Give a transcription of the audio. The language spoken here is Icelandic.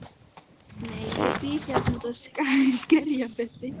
Nei, ég bý hérna úti í Skerjafirði.